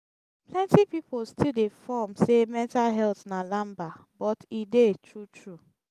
plenti pipo stil dey form say mental health na lamba but e dey tru tru